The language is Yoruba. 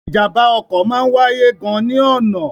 Ìjàmbá ọkọ máa ń wáyé gan ni ọna.